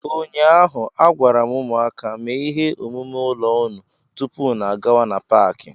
Ụnyaahụ, a gwara m ụmụaka, mee ihe omume ụlọ unu tupu unu gawa n'Paakị!